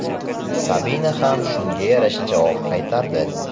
Sabina ham shunga yarasha javob qaytardi.